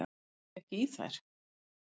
Ég náði ekki í þær.